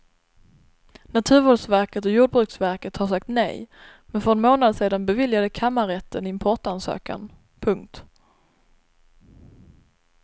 Naturvårdsverket och jordbruksverket har sagt nej men för en månad sedan beviljade kammarrätten importansökan. punkt